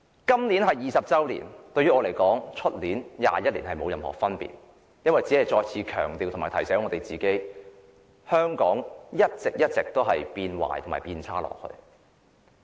今年是回歸20周年，但我認為，今年與明年回歸21周年沒有任何分別，因為這只是再次強調及提醒我們，香港會一直變差。